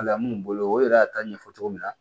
minnu bolo o yɛrɛ y'a ta ɲɛfɔ cogo min na